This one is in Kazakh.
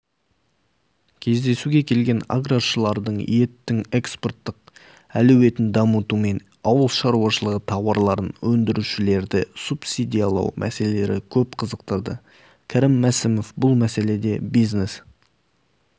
кездесуге келген аграршыларды еттің экспорттық әлеуетін дамыту мен ауыл шаруашылығы тауарларын өндірушілерді субсидиялау мәселелері көп қызықтырды кәрім мәсімов бұл мәселеде бизнес